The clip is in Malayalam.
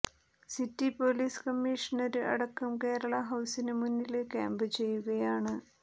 സിറ്റി പോലീസ് കമ്മീഷണര് അടക്കം കേരള ഹൌസിനു മുന്നില് ക്യാമ്പ് ചെയ്യുകയാണ്